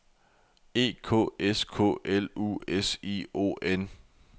E K S K L U S I O N